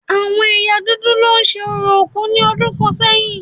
Àwọn ẹ̀yà dúdú lo ṣe orò òkú ní ọdún kàn sẹ́yìn